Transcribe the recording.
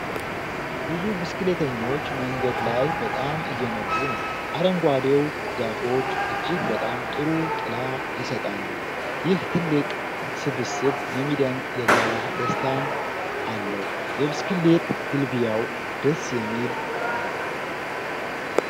ብዙ ብስክሌተኞች መንገድ ላይ በጣም እየነዱ ነው። አረንጓዴው ዛፎች እጅግ በጣም ጥሩ ጥላ ይሰጣሉ። ይህ ትልቅ ስብስብ የሚደንቅ የጋራ ደስታን አለው። የብስክሌት ግልቢያው ደስ የሚል ነው።